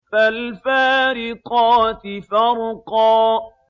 فَالْفَارِقَاتِ فَرْقًا